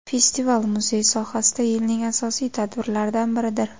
Festival muzey sohasida yilning asosiy tadbirlaridan biridir.